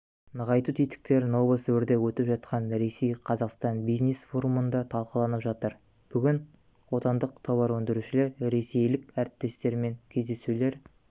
нығайту тетіктері новосібірде өтіп жатқан ресейқазақстан бизнес-форумында талқыланып жатыр бүгін отандық товарөндірішулер ресейлік әріптестерімен кездесулер